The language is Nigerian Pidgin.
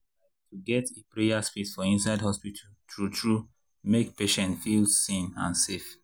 like to get’ a prayer space for inside hospital true-true make patients feel seen and safe.